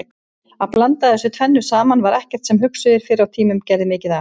Að blanda þessu tvennu saman var ekkert sem hugsuðir fyrr á tíðum gerðu mikið af.